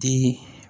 Den